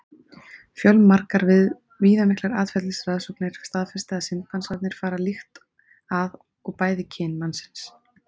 Fjölmargar viðamiklar atferlisrannsóknir staðfesta að simpansarnir fara líkt að og bæði kyn mannsins.